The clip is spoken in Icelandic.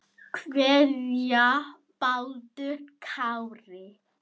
kveðja, Baldur Kári.